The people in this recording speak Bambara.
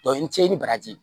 n te se ni baraji